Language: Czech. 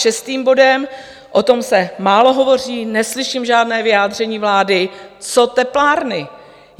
Šestým bodem, o tom se málo hovoří, neslyším žádné vyjádření vlády, co teplárny.